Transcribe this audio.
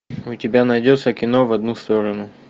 у тебя найдется кино в одну сторону